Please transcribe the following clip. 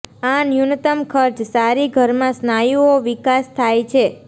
આ ન્યૂનતમ ખર્ચ સારી ઘરમાં સ્નાયુઓ વિકાસ થાય છે